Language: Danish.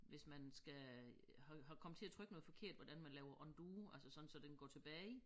Hvis man skal har har kommet til at trykke noget forkert hvordan man laver undo altså sådan så den går tilbage